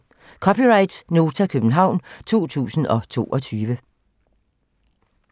(c) Nota, København 2022